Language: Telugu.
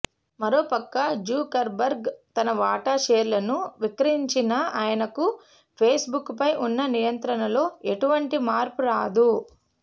మరోపక్క జుకర్బర్గ్ తన వాటా షేర్లను విక్రయించినా ఆయనకు ఫేసుబుక్పై ఉన్న నియంత్రణలో ఎటువంటి మార్పురాదు